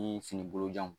Ni fini bolo janw